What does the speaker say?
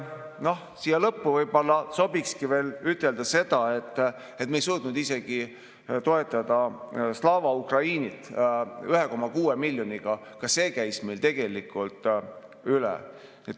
Siia lõppu sobikski võib-olla veel ütelda seda, et me ei suutnud isegi toetada Slava Ukrainit 1,6 miljoniga, ka see käis meil tegelikult üle.